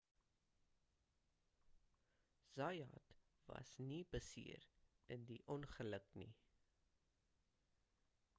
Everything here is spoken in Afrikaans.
zayat was nie beseer in die ongeluk nie